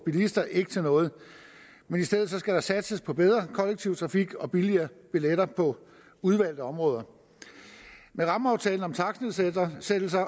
bilister ikke til noget men i stedet skal der satses på bedre kollektiv trafik og billigere billetter på udvalgte områder med rammeaftalen om takstnedsættelser